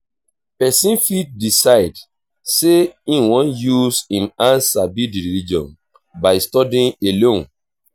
person fit decide sey im wan use im hand sabi di religion by studying alone